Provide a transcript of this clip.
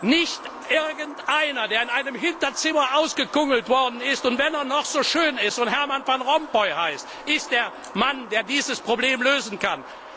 Nicht irgendeiner, der in einem Hinterzimmer ausgekungelt worden ist und wenn er noch so schön ist und Herman Van Rompuy heißt ist der Mann, der dieses Problem lösen kann.